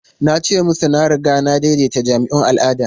Na ce musu na riga na daidaita jami'un al'ada.